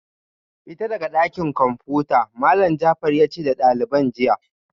Fita daga dakin komfuta Malam Jafar yace da daliban jiya